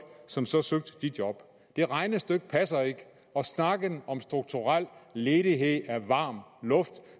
som så søger de job det regnestykke passer ikke og snakken om strukturel ledighed er varm luft